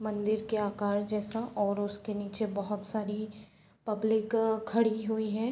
मंदिर के अकार जैसा और उसके नीचे बहुत सारी पब्लिक खड़ी हुई है।